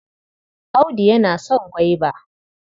Audu yana son gwaiba.